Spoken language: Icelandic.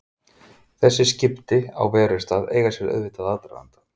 Þessi skipti á verustað eiga sér auðvitað aðdraganda.